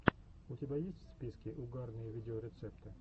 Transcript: у тебя в списке есть угарные видеорецепты